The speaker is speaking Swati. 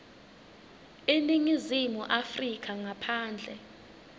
eningizimu afrika ngaphandle